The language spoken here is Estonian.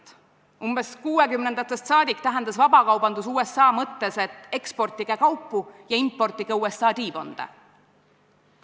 Umbes 1960-ndatest saadik tähendas vabakaubandus USA mõttes, et eksportige kaupu ja importige USA T-bond'e.